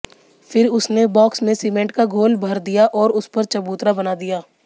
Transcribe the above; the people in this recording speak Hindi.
फिर उसने बॉक्स में सीमेंट का घोल भर दिया और उस पर चबूतरा बना दिया